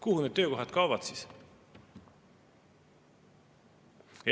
Kuhu need töökohad kaovad?